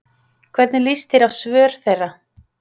Hvernig lýst þér á svör þeirra?